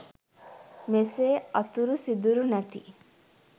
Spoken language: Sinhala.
මෙසේ අතුරු සිදුරු නැති